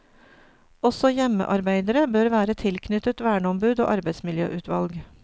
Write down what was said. Også hjemmearbeidere bør være tilknyttet verneombud og arbeidsmiljøutvalg.